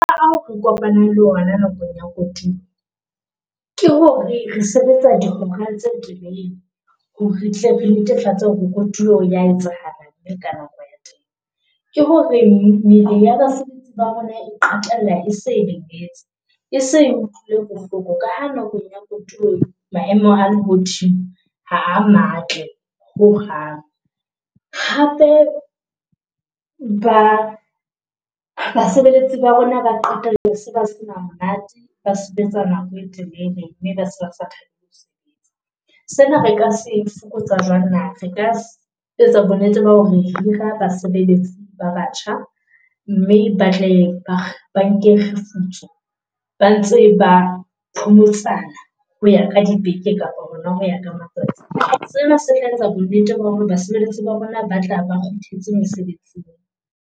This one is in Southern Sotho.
a o re kopanang le ona nakong ya kotulo ke hore re sebetsa dihora tse telele hore retle re netefatse hore kotulo ya etsahala mme ka nako ya teng. Ke hore ng ya basebetsi ba rona e qetella ese e lemetse. E se e utlwile bohloko ka ha nakong ya kodulo maemo a lehodimo ha a matle ho hang. Hape ba basebeletsi ba rona ba qetella se ba sena monate, ba sebetsa nako e telele . Sena re ka se fokotsa jwang na? Re ka etsa bo nnete ba hore hira basebeletsi ba batjha, mme batle banke kgefutso ba ntse ba phomotsana ho ya ka dibeke kapa hona ho ya ka matsatsi. Sena se etsa bo nnete ba hore basebeletsi ba rona ba tla ba kgutletse mosebetsing.